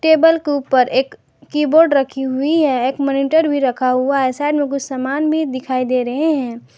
Table के ऊपर एक कीबोर्ड रखी हुई है एक मॉनिटर भी रखा हुआ है साइड में कुछ सामान भी दिखाई दे रहे हैं।